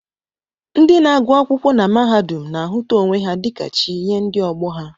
Ndị na-agụ akwụkwọ na mahadum na-ahụta onwe ha dịka chi nye ndị ọgbọ ha